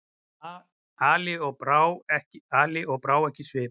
Ali og brá ekki svip.